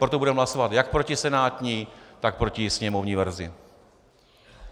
Proto budeme hlasovat jak proti senátní, tak proti sněmovní verzi.